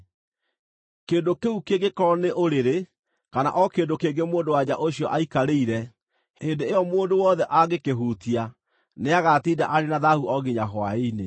Kĩndũ kĩu kĩngĩkorwo nĩ ũrĩrĩ, kana o kĩndũ kĩngĩ mũndũ-wa-nja ũcio aikarĩire, hĩndĩ ĩyo mũndũ wothe angĩkĩhutia, nĩagatinda arĩ na thaahu o nginya hwaĩ-inĩ.